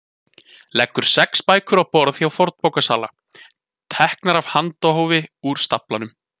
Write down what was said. Leggur sex bækur á borð hjá fornbókasala, teknar af handahófi úr staflanum.